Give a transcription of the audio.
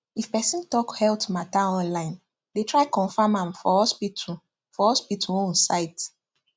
if person talk health matter online dey try confirm am for hospital for hospital own site